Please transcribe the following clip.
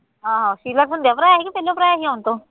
ਹਾਂ ਹਾਂ ਸੀਵਰ ਪੁੰਝੇ ਭਰਾ ਕਿ ਭਰਾ ਆਈ ਹੈ ਹੁਣ ਤੂੰ